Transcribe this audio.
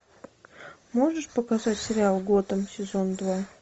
можешь показать сериал готэм сезон два